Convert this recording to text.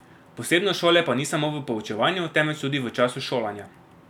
Posebnost šole pa ni samo v poučevanju, temveč tudi v času šolanja.